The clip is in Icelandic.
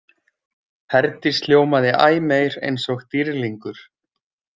Herdís hljómaði æ meir eins og dýrlingur.